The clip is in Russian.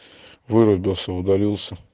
вырубился удалился